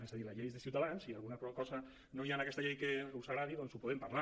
es a dir la llei és de ciutadans i si alguna cosa no hi ha en aquesta llei que us agradi doncs en podem parlar